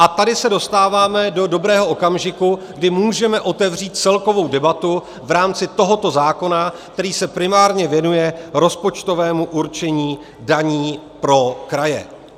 A tady se dostáváme do dobrého okamžiku, kdy můžeme otevřít celkovou debatu v rámci tohoto zákona, který se primárně věnuje rozpočtovému určení daní pro kraje.